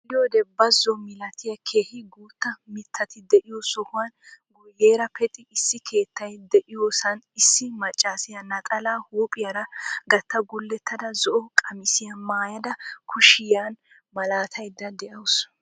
Xeelliyode bazo milattiya keehi guutta mittati de'yo sohuwan guyeera pexi issi keettay diyosan issi maccaassiya naxalaa huuphphiyara gatta gulottada zo"o qamissiya maayada kushiyan malaataydda de'awusu.